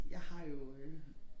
Jeg har jo øh